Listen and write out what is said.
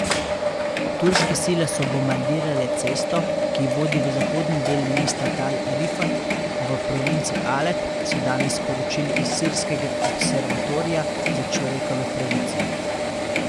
Turške sile so bombardirale cesto, ki vodi v zahodni del mesta Tal Rifat v provinci Alep, so danes sporočili iz Sirskega observatorija za človekove pravice.